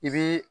I bi